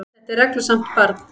Þetta er reglusamt barn.